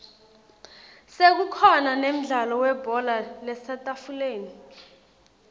sekukhona nemdlalo webhola lasetafuleni